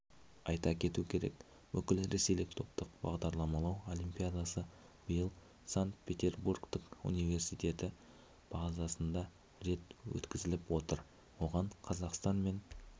айта кету керек бүкіл ресейлік топтық бағдарламалау олимпиадасыбиыл санкт-петербургтік университеті базасында рет өткізіліп отыр оғанқазақстан мен